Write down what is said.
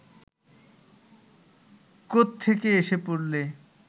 কোত্থেকে এসে পড়লে